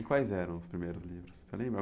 E quais eram os primeiros livros? Você lembra?